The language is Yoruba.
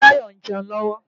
Adebayor ń jẹun lọ́wọ́.